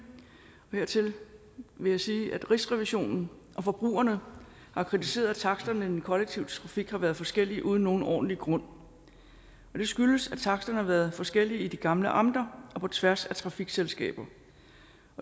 hertil vil jeg sige at rigsrevisionen og forbrugerne har kritiseret at taksterne i den kollektive trafik har været forskellige uden nogen ordentlig grund det skyldes at taksterne har været forskellige i de gamle amter og på tværs af trafikselskaber